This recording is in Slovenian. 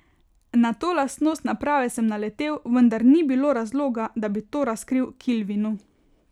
Na to lastnost naprave sem naletel, vendar ni bilo razloga, da bi to razkril Kilvinu.